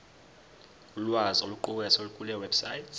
ulwazi oluqukethwe kulewebsite